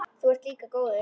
Þú ert líka góður.